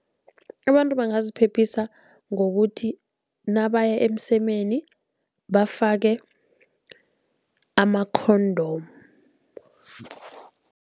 Abantu bangaziphephisa ngokuthi nabaya emsemeni bafake ama-condom.